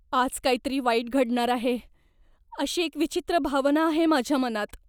आज काहीतरी वाईट घडणार आहे अशी एक विचित्र भावना आहे माझ्या मनात.